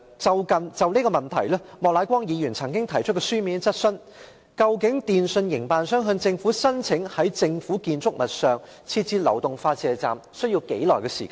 就此，莫乃光議員曾經提出書面質詢，究竟電訊營辦商向政府申請在政府建築物內設置流動發射站，需時多久？